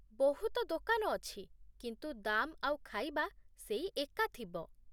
ବହୁତ ଦୋକାନ ଅଛି, କିନ୍ତୁ ଦାମ୍ ଆଉ ଖାଇବା ସେଇ ଏକା ଥିବ ।